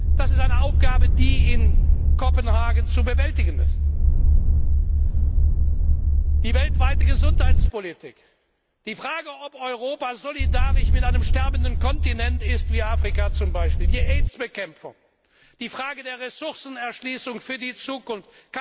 Das ist eine Aufgabe, die in Kopenhagen zu bewältigen ist, ebenso wie die weltweite Gesundheitspolitik, die Frage, ob Europa solidarisch mit einem sterbenden Kontinent wie zum Beispiel Afrika ist, die Aids Bekämpfung, die Frage der Ressourcenerschließung für die Zukunft.